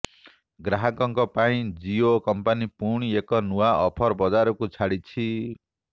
ଗ୍ରାହକଙ୍କ ପାଇଁ ଜିଓ କମ୍ପାନି ପୁଣି ଏକ ନୂଆ ଅଫର ବଜାରକୁ ଛାଡିଛି